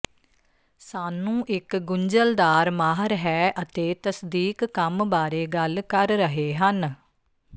ਸਾਨੂੰ ਇੱਕ ਗੁੰਝਲਦਾਰ ਮਾਹਰ ਹੈ ਅਤੇ ਤਸਦੀਕ ਕੰਮ ਬਾਰੇ ਗੱਲ ਕਰ ਰਹੇ ਹਨ